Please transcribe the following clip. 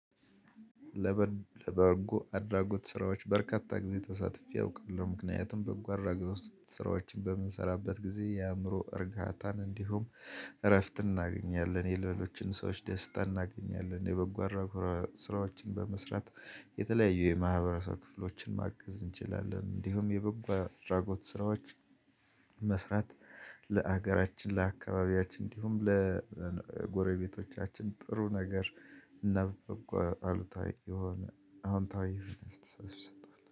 ለበርጎ አድራጎት ስራዎች በርካታ ጊዜ ተሳትፈረ አውቃለሁ። ምክንያቱም በበጎ ጊዜ ስራዎችን በምንሰራበት ጊዜ የአእምሮ እርጋታን እንዲሁም እረፍት እናገኛለን። የሌሎችን ሰዎች ደስታ እናገኛለን። የበጎ አድራጎት ስራዎችን በመስራት የተለያዩ የማህበረሰብ ክፍሎችን ማገዝ እንችላለን። እንዲሁም የበጎ አድራጎት ስራዎች መስራት ለሀገራችን፤ ለአካባቢያችን እንዲሁም ለጎረቤቶቻችን ጥሩ ነገር አዎንታዊ ጠቀመታ ይሰጣል።